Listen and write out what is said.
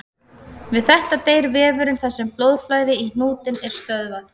Við þetta deyr vefurinn þar sem blóðflæði í hnútinn er stöðvað.